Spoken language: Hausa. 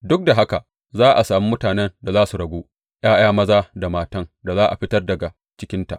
Duk da haka za a sami mutanen da za su ragu ’ya’ya maza da matan da za a fitar daga cikinta.